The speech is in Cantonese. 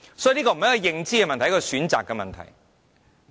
所以，這不是認知的問題，而是選擇的問題。